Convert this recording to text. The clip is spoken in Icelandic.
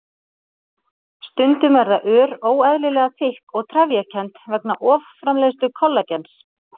Stundum verða ör óeðlilega þykk og trefjakennd vegna offramleiðslu kollagens.